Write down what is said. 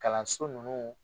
Kalanso ninnu